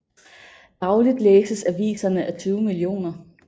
Dagligt læses aviserne af 20 mio